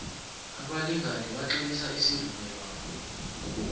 abalingani batlolisa isivumelwano